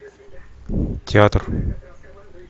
театр